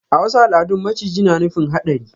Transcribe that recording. A wasu al'adun maciji na nufin hadari.